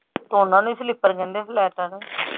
ਤੇ ਓਹਨਾ ਨੂੰ ਹੀ slipper ਕਹਿੰਦੇ ਆ flats ਨੂੰ।